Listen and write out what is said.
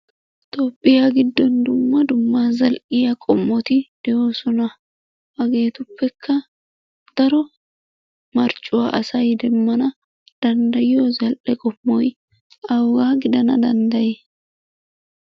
Tophphiya giddon dumma dumma zal'iya qommoti de'oosona. Hageetuppekka daro marccuwa asay demmana danddayiyo zal'e qommoy awugaa gidana danddayi?